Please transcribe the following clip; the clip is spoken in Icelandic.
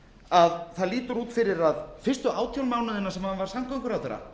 að það lítur út fyrir að fyrstu átján mánuðina sem hann var samgönguráðherra